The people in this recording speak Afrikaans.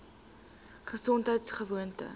gesondheidgewoon